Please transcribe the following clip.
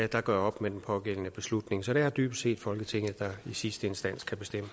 der gør op med den pågældende beslutning så det er dybest set folketinget der i sidste instans